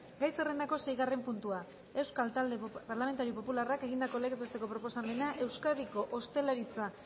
gai zerrendako seigarren puntua euskal talde parlamentario popularrak egindako legez besteko proposamena euskadiko ostalaritza